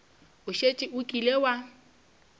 o šetše o kile wa